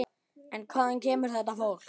En hvaðan kemur þetta fólk?